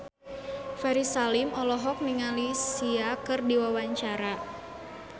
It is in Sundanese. Ferry Salim olohok ningali Sia keur diwawancara